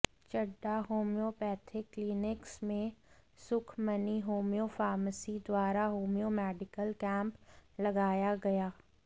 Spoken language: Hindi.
चड्ढा होम्योपैथिक क्लीनिक्स में सुखमनी होम्यो फार्मेसी द्वारा होम्यो मेडिकल कैंप लगाया गया